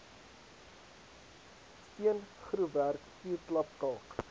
steengroefwerk vuurklap kalk